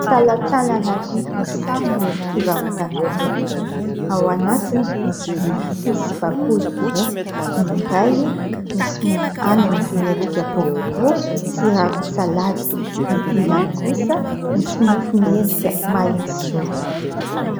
Talantalana vy misarona fivarotana mofo, ao anatiny misy vilia fotsy sy bakoly roa. Ny iray misy mofo anana miendrika boribory sy ravin-tsalady, ny ilany kosa misy mofo miendrika mahitsizoro.